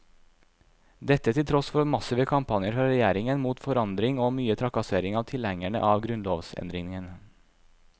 Dette til tross for massive kampanjer fra regjeringen mot forandring og mye trakassering av tilhengerne av grunnlovsendringene.